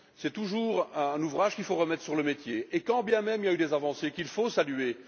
C'est toujours un ouvrage qu'il faut remettre sur le métier, quand bien même il y a eu des avancées qu'il faut saluer.